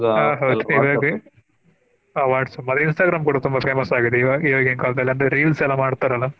ಆಹ್ ಹೌದು ಆ WhatsApp ಮತ್ತೆ Instagram ಕೂಡಾ ತುಂಬಾ famous ಆಗಿದೆ ಇವಾಗ ಈವಾಗಿನ ಕಾಲದಲ್ಲಿ ಅಂದ್ರೆ reels ಎಲ್ಲಾ ಮಾಡ್ತಾರಲ್ಲಾ.